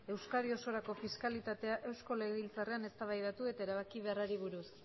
euskadi osorako fiskalitatea eusko legebiltzarrean eztabaidatu eta erabaki beharrari buruz